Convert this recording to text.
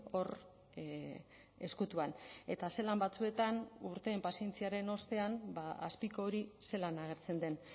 hor ezkutuan eta zelan batzuetan urteen pazientziaren ostean azpiko hori zelan agertzen den